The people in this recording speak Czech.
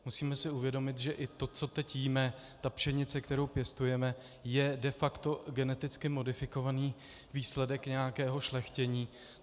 Musíme si uvědomit, že i to, co teď jíme, ta pšenice, kterou pěstujeme, je de facto geneticky modifikovaný výsledek nějakého šlechtění.